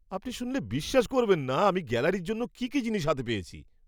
আপনি শুনলে বিশ্বাস করবেন না আমি গ্যালারির জন্য কী জিনিস হাতে পেয়েছি!